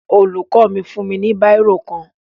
Olùkọ́ mi fún mi ní bírò kan